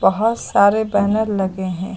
बहुत सारे बैनर लगे हैं।